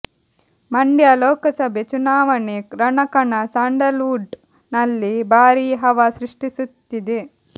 ಮಂಡ್ಯ ಲೋಕಸಭೆ ಚುನಾವಣೆ ರಣಕಣ ಸ್ಯಾಂಡಲ್ ವುಡ್ ನಲ್ಲಿ ಭಾರೀ ಹವಾ ಸೃಷ್ಟಿಸುತ್ತಿದೆ